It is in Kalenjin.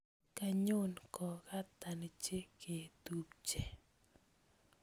Kanyon kokatan cheketubche